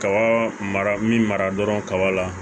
Kaba mara min mara dɔrɔn kaba la